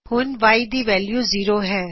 ਹੁਣ Y ਦੀ value zero ਹੈ